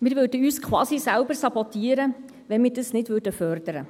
Wir sabotierten uns quasi selbst, wenn wir dies nicht förderten.